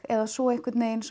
eða svo einhvern veginn